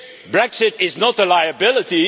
Brexit. Brexit is not a liability.